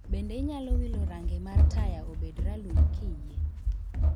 Bende inyalo wilo range mar taya obed ralum kiyie